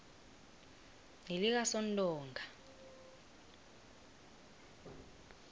nelikasontonga